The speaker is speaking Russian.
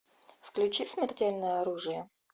включи смертельное оружие